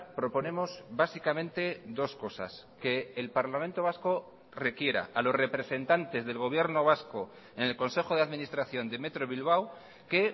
proponemos básicamente dos cosas que el parlamento vasco requiera a los representantes del gobierno vasco en el consejo de administración de metro bilbao que